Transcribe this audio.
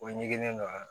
O ɲiginnen don a la